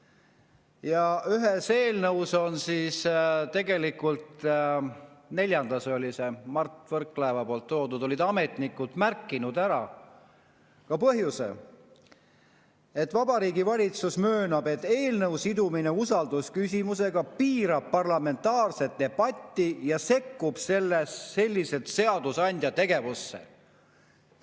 Ja ühe eelnõu puhul, tegelikult neljanda eelnõu puhul tõi Mart Võrklaev ära, et ametnikud olid märkinud ka põhjuse: et Vabariigi Valitsus möönab, et eelnõu sidumine usaldusküsimusega piirab parlamentaarset debatti ja sellega sekkutakse seadusandja tegevusse.